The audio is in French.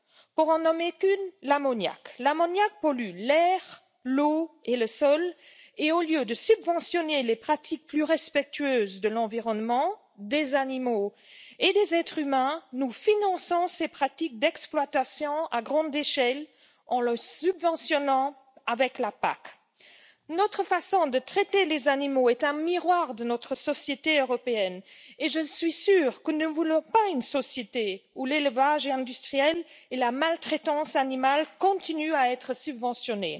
Pour n'en nommer qu'une l'ammoniac. L'ammoniac pollue l'air, l'eau et le sol et, au lieu de subventionner les pratiques plus respectueuses de l'environnement, des animaux et des êtres humains, nous finançons ces pratiques d'exploitation à grande échelle en les subventionnant avec la PAC. Notre façon de traiter les animaux est un miroir de notre société européenne et je suis sûre que nous ne voulons pas une société où l'élevage industriel et la maltraitance animale continuent à être subventionnés.